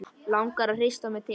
Langar að hrista mig til.